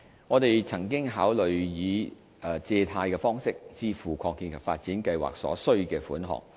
我們曾經考慮以借貸方式支付擴建及發展計劃所需的款額。